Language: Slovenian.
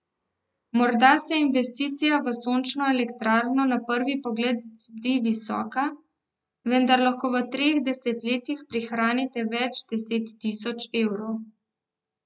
Morda se investicija v sončno elektrarno na prvi pogled zdi visoka, vendar lahko v treh desetletjih prihranite več deset tisoč evrov.